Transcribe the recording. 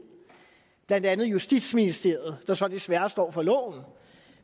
blandt andet justitsministeriet der så desværre står for loven